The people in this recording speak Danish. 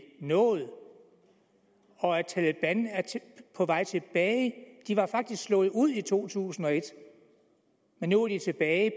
nået og at taleban er på vej tilbage de var faktisk slået ud i to tusind og et men nu er de tilbage